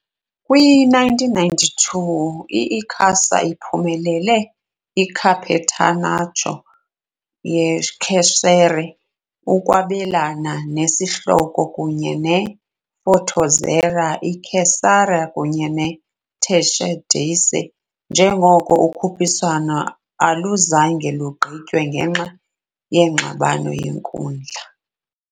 Kwi-1992, i-Icasa iphumelele i- Campeonato Cearense, ukwabelana ngesihloko kunye ne -Fortaleza, i-Ceará, kunye ne-Tiradentes, njengoko ukhuphiswano aluzange lugqitywe ngenxa yengxabano yenkundla.